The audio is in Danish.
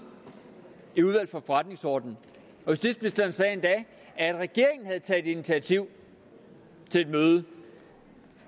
i udvalget for forretningsordenen justitsministeren sagde endda at regeringen havde taget initiativ til et møde